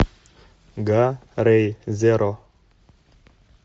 га рей зеро